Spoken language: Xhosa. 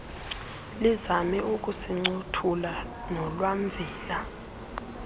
lizame ukusincothula nolwamvila